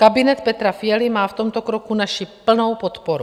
Kabinet Petra Fialy má v tomto kroku naši plnou podporu.